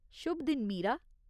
शुभ दिन, मीरा।